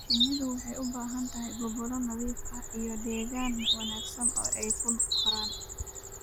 Shinnidu waxay u baahan tahay gobolo nadiif ah, iyo deegaan wanaagsan oo ay ku koraan.